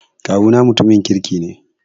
Kawuna mutumin kirki ne.